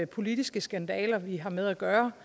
politiske skandaler vi har med at gøre